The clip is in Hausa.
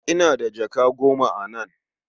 Ina da jaka goma a nan.